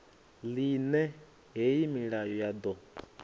ḽine hei milayo ya ḓo